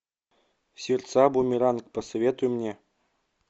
сердца бумеранг посоветуй мне